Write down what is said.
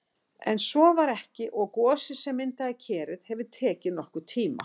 En svo var ekki og gosið sem myndaði Kerið hefur tekið nokkurn tíma.